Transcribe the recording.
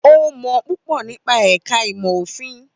Ó mọ púpọ̀ nípa ẹ̀ka ìmọ̀ òfin.